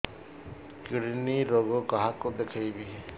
kidney ରୋଗ କାହାକୁ ଦେଖେଇବି